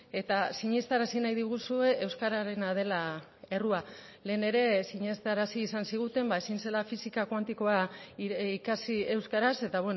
eta sinestarazi nahi diguzue euskararena dela errua lehen ere sinestarazi izan ziguten ezin zela fisika kuantikoa ikasi euskaraz eta